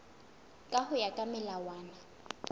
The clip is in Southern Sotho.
ka ho ya ka melawana